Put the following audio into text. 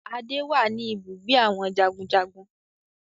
Adé wá ní ibùgbé àwọn jagunjagun